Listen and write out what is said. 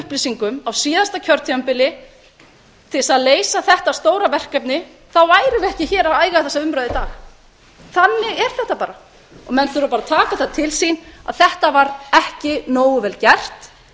upplýsingum á síðasta kjörtímabili til þess að leysa þetta stóra verkefni værum við ekki hér að eiga þessa umræðu í dag þannig er þetta bara og menn þurfa bara að taka þetta til sín að þetta var ekki nógu vel gert